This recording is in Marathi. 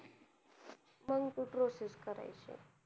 मंग ती process करायची.